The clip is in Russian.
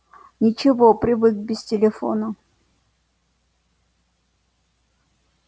ничего привык без телефона